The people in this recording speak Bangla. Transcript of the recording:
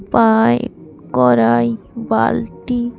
পাইপ কড়াই বালতি।